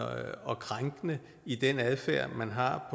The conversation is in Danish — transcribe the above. og krænkende i den adfærd man har